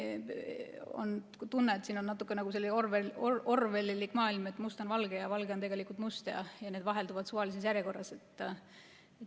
Mul on tunne, et siin on natukene nagu orwellilik maailm, et must on valge ja valge on tegelikult must ja need vahelduvad suvalises järjekorras.